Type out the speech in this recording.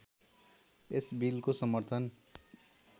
यस बिलको समर्थन